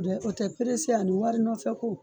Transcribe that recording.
Dɛ o tɛ perese ani wari nɔfɛ ko